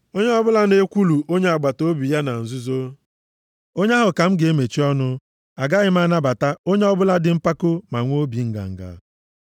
Onye ọbụla na-ekwulu onye agbataobi ya na nzuzo, onye ahụ ka m ga-emechi ọnụ; agaghị m anabata onye ọbụla dị mpako ma nwee obi nganga.